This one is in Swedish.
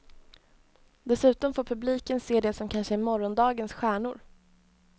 Dessutom får publiken se det som kanske är morgondagens stjärnor.